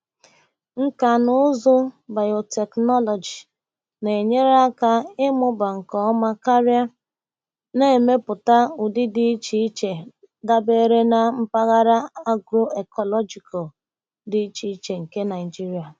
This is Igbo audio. Nkà na ụzụ bayotechnology na-enyere aka ịmụba nke ọma karị, na-emepụta ụdị dị iche iche dabara na mpaghara agro-ecological dị iche iche nke Nigeria.